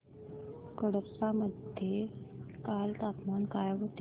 कडप्पा मध्ये काल तापमान काय होते